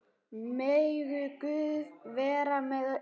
Megi Guð vera með ykkur.